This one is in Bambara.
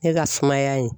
Ne ka sumaya in